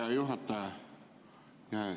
Hea juhataja!